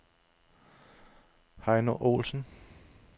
Heino Ohlsen